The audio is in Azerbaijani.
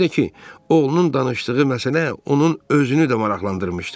Bir də ki, oğlunun danışdığı məsələ onun özünü də maraqlandırmışdı.